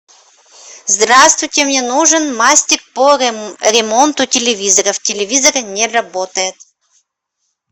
здравствуйте мне нужен мастер по ремонту телевизоров телевизор не работает